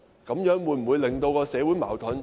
這樣會否加深社會矛盾？